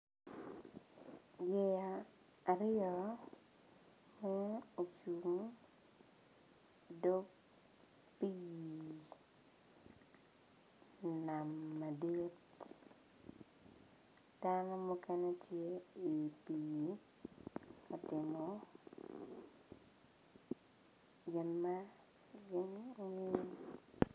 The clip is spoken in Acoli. yeya aryo ma ki cibo idog pii nam madit dano mukene tye i pii ka timo gin ma gin gingeyo